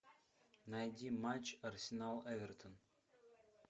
найди матч арсенал эвертон